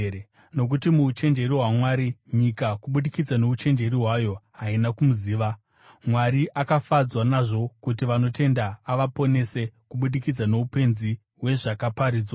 Nokuti muuchenjeri hwaMwari, nyika kubudikidza nouchenjeri hwayo, haina kumuziva, Mwari akafadzwa nazvo kuti vanotenda avaponese kubudikidza noupenzi hwezvakaparidzwa.